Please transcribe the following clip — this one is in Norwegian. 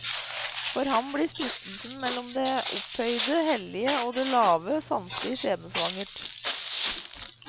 For ham blir splittelsen mellom det opphøyde, hellige og det lave, sanselige skjebnesvanger.